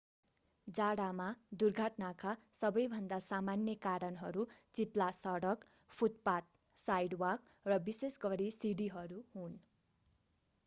जाडामा दुर्घटनाका सबैभन्दा सामान्य कारणहरू चिप्ला सडक फुटपाथ साइडवाक र विशेष गरी सिंढीहरू हुन्।